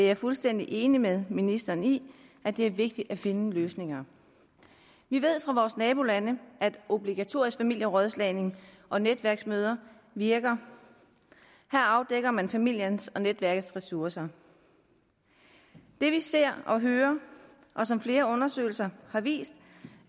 er fuldstændig enig med ministeren i at det er vigtigt at finde løsninger vi ved fra vores nabolande at obligatorisk familierådslagning og netværksmøder virker her afdækker man familiens og netværkets ressourcer det vi ser og hører og som flere undersøgelser har vist